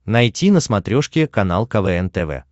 найти на смотрешке канал квн тв